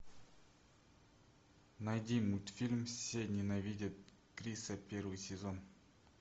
найди мультфильм все ненавидят криса первый сезон